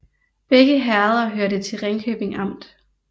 Begge herreder hørte til Ringkøbing Amt